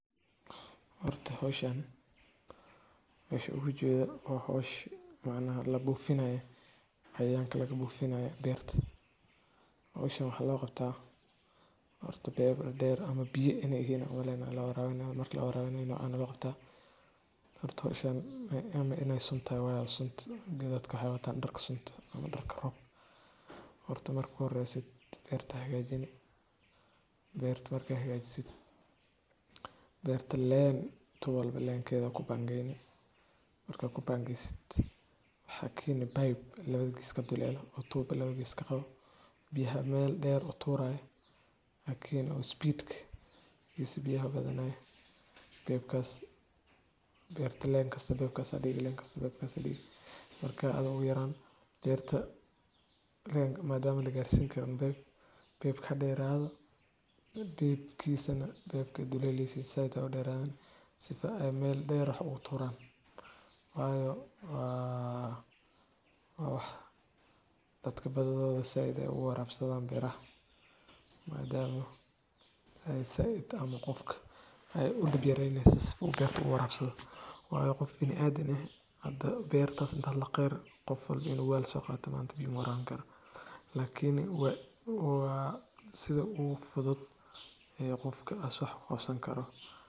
Horto xooshan. Isu wujed wa xoosh ma nala bufeenaaye xayan kala bufeenaaye beert. Oosha hal qabtaa horta beer dheer ama biye ene eeyan lal warawinaa marti la raba inaanu anu qof ta horta ishama ama innay sunta wayal suntida adka hayataa dhar sunt ama darka roobt. Horto markuu reesit beerta xiga jine. Beerta markaa xigaa jisi beerta leen. Tu wala leen keeda ku bangaynay markaa ku bangay. Hakim bay 12 kiiska dulale utub 12 kiiska u biyaa meel dheer utuur ah. Hakimi speed ka yisu biyo badanaa beeb kaas beerta leen kasta bakaas adigu leen kasta. Bakaas adiga markaa aad u yaraan beerta leen madaama la gaarsii kan beeb beeb ka dheeraado beeb kiisa baka dulaylii siin sayda dhiraan sifa ay meel dheera u ururaan. Waayo waa waawax dadka badada Sayid ah u warabsadan birah maadaama ay Sayid ama qofka ay u dhab yaraynaysa si u bixi warabsan. Waayo qof inaad ine. Hadda beerta inta la qeer quffad inagoo wal soo qaatanaant biyo muraangar. Laakiin waa waa sida uu fudud ee qofka asux qofsan karo.